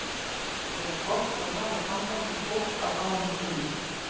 Ég á gott og náið samband við fólk af báðum kynjum.